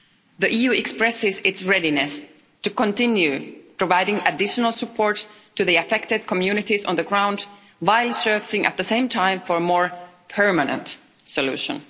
The EU expresses its readiness to continue providing additional support to the affected communities on the ground while searching at the same time for a more permanent solution.